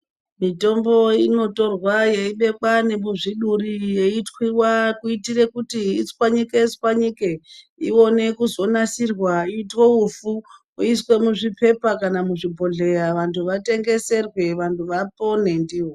Mitombo inotorwa yeibekwa nemuzviduri, yeitwiwa kuitire kuti itswanyike tswanyike ione kuzonasirwa itwe ufu iswe muzviphepha kana muzvibhohleya vantu vatengeserwe vantu vapone ndiwo.